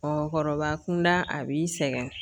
Mɔgɔkɔrɔba kunda a b'i sɛgɛn